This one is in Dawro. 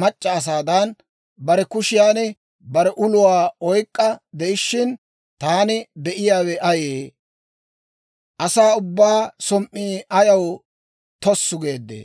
mac'c'a asaadan, bare kushiyan bare uluwaa oyk'k'a de'ishshin taani be'iyaawe ayee? Asaa ubbaa som"ii ayaw tossu geeddee?